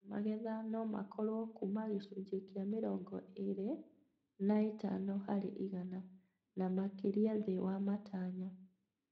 Magetha nomakorwo kuma gĩcunjĩ kĩa mĩrongo ĩrĩ na ĩtano harĩ igana na makĩria thĩ wa matanya